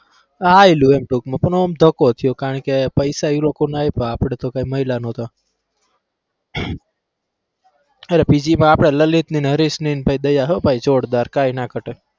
હાઈલું એમ ટૂંકમાં પણ આમ ધક્કો થયો કારણ કે પૈસા ઈ લોકોના આયપા આપડે તો કઈ મળ્યા ન હતા અરે PG મા આપડા લલિતની ને હરેશની ને ભાઈ દયા હો ભાઈ જોરદાર કાંઈ ના ઘટે.